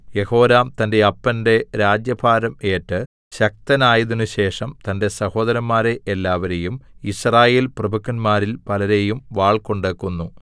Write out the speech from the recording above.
യെഹോരാം തന്റെ അപ്പന്റെ രാജ്യഭാരം ഏറ്റ് ശക്തനായതിനുശേഷം തന്റെ സഹോദരന്മാരെ എല്ലാവരേയും യിസ്രായേൽ പ്രഭുക്കന്മാരിൽ പലരെയും വാൾകൊണ്ട് കൊന്നു